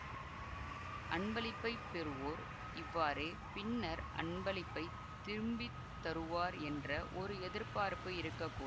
அன்பளிப்பைப் பெறுவோர் இவ்வாறே பின்னர் அன்பளிப்பைத் திரும்பி தருவார் என்ற ஒரு எதிர்பார்ப்பு இருக்க கூடும்